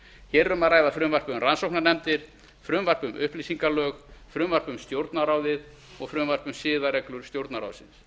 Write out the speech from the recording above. hér er um að ræða frumvarpið um rannsóknarnefndir frumvarp um upplýsingalög frumvarp um stjórnarráðið og frumvarp um siðareglur stjórnarráðsins